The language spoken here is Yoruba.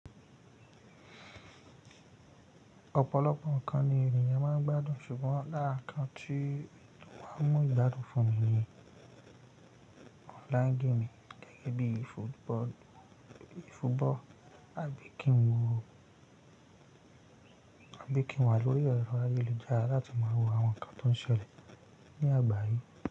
Ọ̀pọ̀lọpọ̀ nǹkan ni ènìyàn máa ń gbádùn, ṣùgbọ́n lára nǹkan tí wọ́n máa ń mú ìgbádùn fún mi ni online gaming gẹ́gẹ́ bíi football, àbí kí n wà lórí ẹ̀rọ ayélujára láti máa wo àwọn ǹkan tó ń ṣẹlẹ̀ ní àgbáyé.